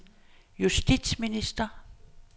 justitsminister